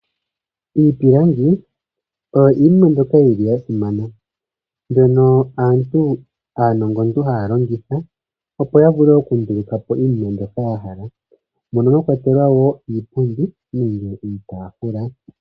Iipilangi oyo iinima mbyoka yi li ya simana, mbyono aanongontu haa longitha, opo ya vule oku nduluka po iinima mbyoka ya hala, mono mwa kwatelwa o iipundi nenge iitaafula.